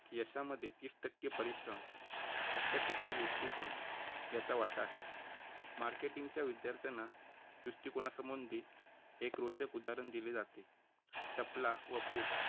यशामध्ये तीस टक्के परिश्रम सत्तर टक्के दृष्टिकोन याचा वाटा आहे. मार्केटिंगच्या विद्यार्थ्यांना दृष्टिकोनासंबंधी एक रोचक उदाहरण दिले जाते चपला व boot